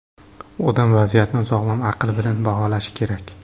Odam vaziyatni sog‘lom aql bilan baholashi kerak.